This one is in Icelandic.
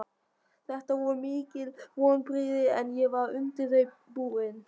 Þetta voru mikil vonbrigði en ég var undir þau búinn.